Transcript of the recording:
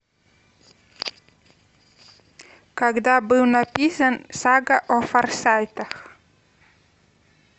когда был написан сага о форсайтах